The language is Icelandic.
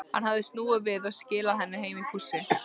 Hann hafði snúið við og skilað henni heim í fússi.